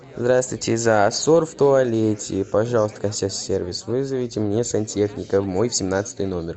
здравствуйте засор в туалете пожалуйста консьерж сервис вызовите мне сантехника в мой семнадцатый номер